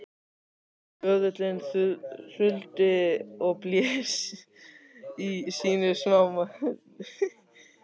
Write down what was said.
Böðullinn þuldi og blés í sínu smámæli